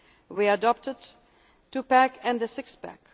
mechanism. We adopted the two pack and